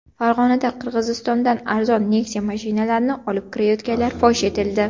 Farg‘onada Qirg‘izistondan arzon Nexia mashinalarini olib kirayotganlar fosh etildi.